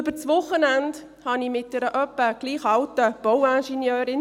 Über das Wochenende sprach ich mit einer etwa gleich alten Bauingenieurin.